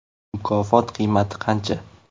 Mukofot qiymati qancha ?